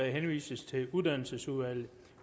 henvises til uddannelsesudvalget